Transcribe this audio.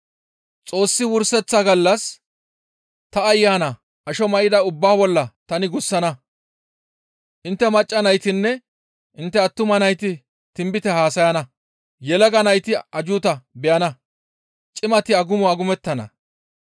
« ‹Xoossi Wurseththa gallas ta Ayana asho may7ida ubbaa bolla tani gussana; intte macca naytinne intte attuma nayti tinbite haasayana; yelaga nayti ajjuuta beyana; cimati agumo agumettana.